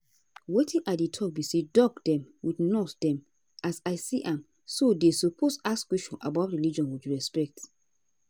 wetin i dey talk be say doc dem with nurse dem as i see am so dey suppose ask questions about religion with respect.